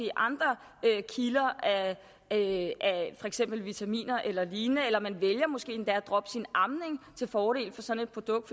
andre kilder af for eksempel vitaminer eller lignende eller måske endda vælger at droppe sin amning til fordel for sådan et produkt